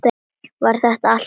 Var þetta allt lygi?